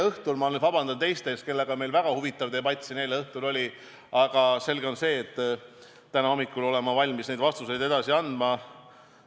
Ma palun vabandust nendelt, kellega meil oli juba eile õhtul siin väga huvitav debatt, aga selge on see, et täna hommikul olen ma valmis jätkama ja edasi vastuseid andma.